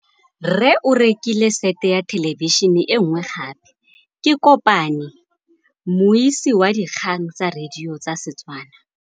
Rre o rekile sete ya thêlêbišênê e nngwe gape. Ke kopane mmuisi w dikgang tsa radio tsa Setswana.